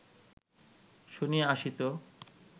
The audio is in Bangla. শুনিয়া আসিত